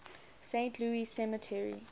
saint louis cemetery